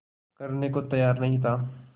करने को तैयार नहीं था